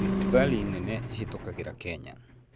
Rift Valley nene ĩhĩtũkagĩra Kenya.